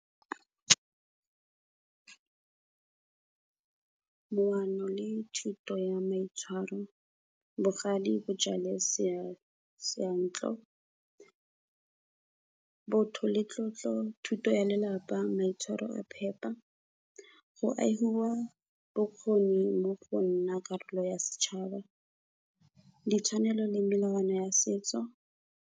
Leano le thuto ya maitshwaro, bogale bo jale seyantlo, botho le tlotlo, thuto ya lelapa, maitshwaro a phepa, go agiwa bokgoni mo go nna karolo ya setšhaba, ditshwanelo le melawana ya setso.